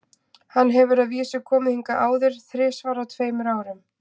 Hann hefur að vísu komið hingað áður, þrisvar á tveimur árum.